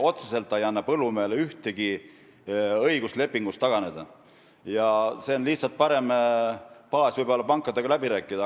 Otseselt ei anna see põllumehele mingit õigust lepingust taganeda, see on lihtsalt võib-olla parem baas pankadega läbirääkimisteks.